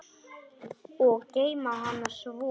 Og geyma hana svo.